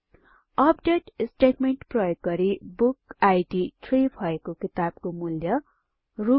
update statement प्रयोग गरि बुकिड 3 भएको किताबको मूल्य आरएस